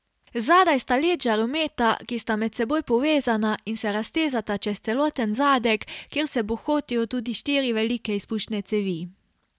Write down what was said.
Zadaj sta led žarometa, ki sta med seboj povezana in se raztezata čez celoten zadek, kjer se bohotijo tudi štiri velike izpušne cevi.